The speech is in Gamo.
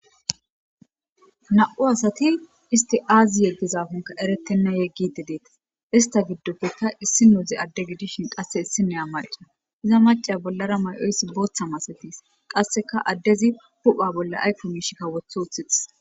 Na'u asati isti aazi yeggizaafonka eretenna yeggidi deeta ista giddopfekka issi nuuzi adde gidishin qasse issi neya marcaa iza macaya bollara may'oyssi booththa masetis qasseka addezi hupha bolla aykko miishikka wothi wouthixis